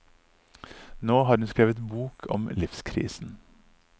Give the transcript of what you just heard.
Nå har hun skrevet bok om livskrisen.